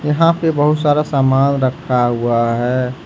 यहां पे बहुत सारा सामान रखा हुआ है।